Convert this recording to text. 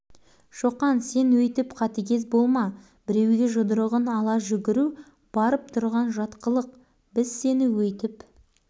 солай ма балалар сынып шу ете қалды солай апай шоқан төбелескіш балалардың бәрін ұрады қыздарға да